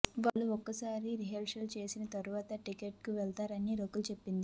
వాళ్లు ఒకసారి రిహార్సల్స్ చేసిన తర్వాత టేక్ కు వెళ్తుంటారని రకుల్ తెలిపింది